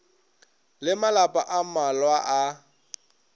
le malapa a mmalwa a